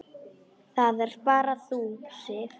Það ert bara þú, Sif.